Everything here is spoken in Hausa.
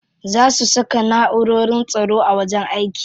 Za su saka na'urorin tsaro a wajen aiki.